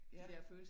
Ja